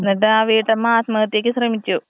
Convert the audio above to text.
എന്നിട്ടാ വീട്ടമ്മ ആത്മഹത്യക്ക് ശ്രമിച്ചു.